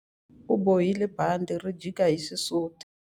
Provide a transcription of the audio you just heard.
U bohile bandhi ri jika hi xisuti.